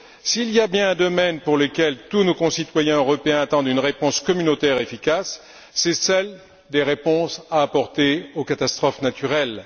S'il y a bien un domaine pour lequel tous nos concitoyens européens attendent une réponse communautaire efficace, c'est celui des réponses à apporter aux catastrophes naturelles.